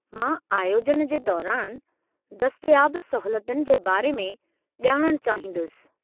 मां आयोजन जे दौरानि दस्तियाब सहूलियतुनि जे बारे में ॼाणणु चाहींदुसि।